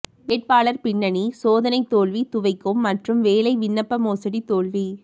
வேட்பாளர் பின்னணி சோதனை தோல்வி துவைக்கும் மற்றும் வேலை விண்ணப்ப மோசடி தோல்வி